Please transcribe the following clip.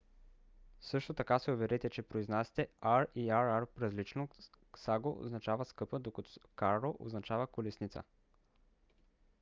също така се уверете че произнасяте r и rr различно: caro означава скъпа докато carro означава колесница